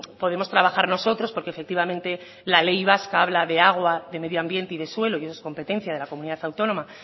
podemos trabajar nosotros porque efectivamente la ley vasca habla de agua de medio ambiente y de suelo y eso es competencia de la comunidad autónoma